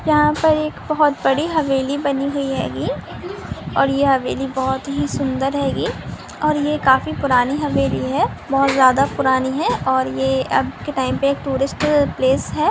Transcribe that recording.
यहां पर एक बहुत बड़ी हवेली बनी हुई है ये और ये हवेली बहुत ही सूंदर है ये और ये काफी पुरानी हवेली है बहुत ज्यादा पुरानी है और ये आज के टाइम पे एक टूरिस्ट पैलेस है।